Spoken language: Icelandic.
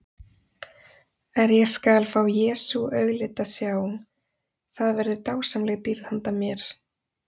Er ég skal fá Jesú auglit að sjá, það verður dásamleg dýrð handa mér.